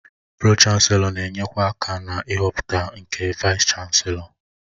Pro-Chanselọ na-enyekwa aka na ịhọpụta nke Vaịs-Chanselọ.